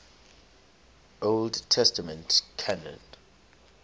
old testament canon